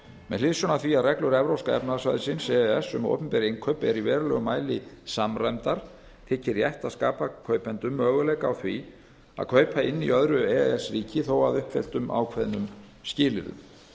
með hliðsjón af því að reglur evrópska efnahagssvæðisins e e s um opinber innkaup eru í verulegum mæli samræmdar þykir rétt að skapa kaupendum möguleika á því að kaupa inn í öðru e e s ríki þó að uppfylltum ákveðnum skilyrðum